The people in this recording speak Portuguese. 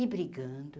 E brigando.